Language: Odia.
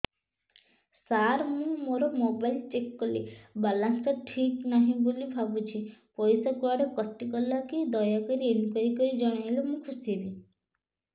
ସାର ମୁଁ ମୋର ମୋବାଇଲ ଚେକ କଲି ବାଲାନ୍ସ ଟା ଠିକ ନାହିଁ ବୋଲି ଭାବୁଛି ପଇସା କୁଆଡେ କଟି ଗଲା କି ଦୟାକରି ଇନକ୍ୱାରି କରି ଜଣାଇଲେ ମୁଁ ଖୁସି ହେବି